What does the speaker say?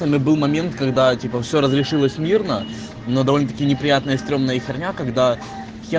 был момент когда типа все разрешилось мирно но довольно-таки неприятное стремно и хомяк когда